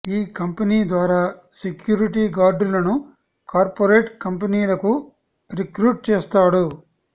ఈ కంపెనీ ద్వారా సెక్యూరిటీ గార్డులను కార్పొరేట్ కంపెనీలకు రిక్రూట్ చేస్తాడు